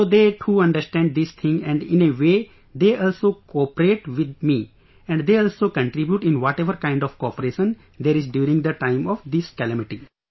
So they too understand this thing and in a way they also cooperate with me and they also contribute in whatever kind of cooperation there is during the time of this calamity